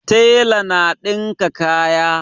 Tela na dinka kaya